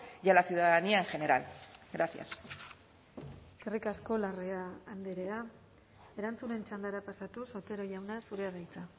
y a la ciudadanía en general gracias eskerrik asko larrea andrea erantzunen txandara pasatuz otero jauna zurea da hitza